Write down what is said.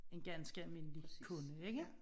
En ganske almindelig kunde ikke?